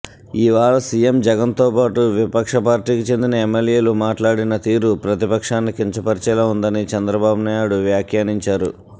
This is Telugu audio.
ఇవాళ సీఎం జగన్తో పాటు విపక్ష పార్టీకి చెందిన ఎమ్మెల్యేలు మాట్లాడిన తీరు ప్రతిపక్షాన్ని కించపర్చేలా ఉందని చంద్రబాబునాయుడు వ్యాఖ్యానించారు